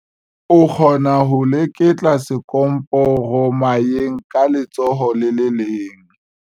O kgona ho leketla sekomporomayeng ka letsoho le le leng.